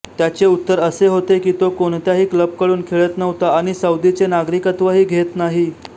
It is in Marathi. त्याचे उत्तर असे होते की तो कोणत्याही क्लबकडून खेळत नव्हता आणि सौदीचे नागरिकत्वही घेत नाही